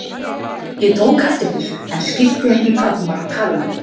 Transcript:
Ég tók eftir þessu en skildi ekki hvað hún var að tala um.